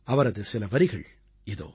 அவரது சில வரிகள் இதோ